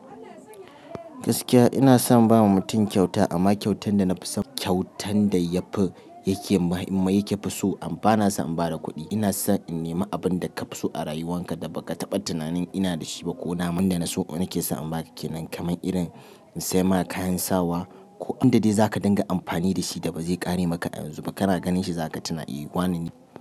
Gaskiya ina son ba wa mutum kyauta amma kyautan da na fi son kyautan da yafi yake so amma bana so in ba da kuɗi. Ina son in nema abin da ka fi so a rayuwarka da ba ka taɓa tunanin ina da shi ba ko na man da na so nake so in baka ke nan kamar irin in sai ma kayan sawa ko abin da dai za ka dinga amfani da shi da ba zai ƙare maka yanzu ba. Kana ganin shi za ka tuna eh wane ne.